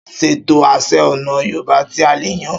Ṣètò àsè ọ̀nà Yorùbá tí a lè yàn.